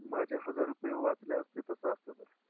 माझे हजार रुपये वाचले असते तसं असतं तर.